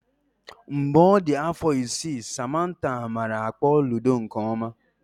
Mgbe ọ dị afọ isii, Samantha nwere ike ịkpọ ludo nke ọma.